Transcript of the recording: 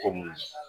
Komi